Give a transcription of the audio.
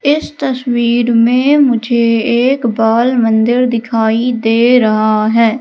इस तस्वीर में मुझे एक बाल मंदिर दिखाई दे रहा है।